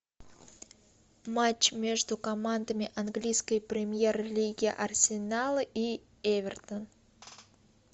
матч между командами английской премьер лиги арсенала и эвертона